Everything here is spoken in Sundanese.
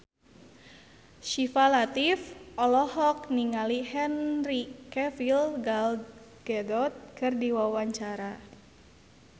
Syifa Latief olohok ningali Henry Cavill Gal Gadot keur diwawancara